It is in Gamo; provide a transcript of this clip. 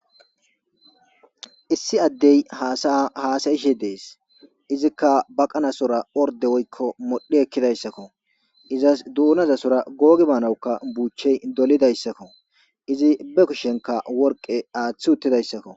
Issi addey haasayaa haasayishe dees; izikka baqanasora ordde woykko modhdhi ekkidayssakoo; izas duunazasora googi baanawukka buuchey dolidayssakko; izi be kushenkka worqqe aaththi uttidayssakoo.